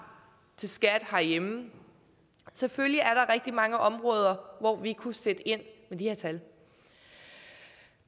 til skat herhjemme selvfølgelig er der rigtig mange områder hvor vi kunne sætte ind med de her tal